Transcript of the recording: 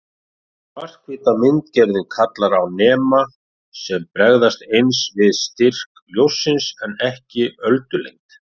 Svarthvíta myndgerðin kallar á nema sem bregðast aðeins við styrk ljóssins en ekki öldulengd.